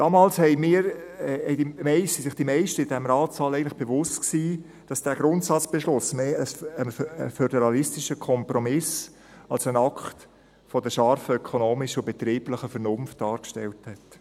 Damals waren sich die meisten im Ratssaal eigentlich bewusst, dass dieser Grundsatzbeschluss mehr ein föderalistischer Kompromiss als ein Akt der scharfen ökonomischen und betrieblichen Vernunft dargestellt hat.